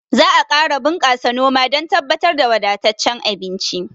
Za a ƙara bunƙasa noma dan tabbatar da wadattacen abinci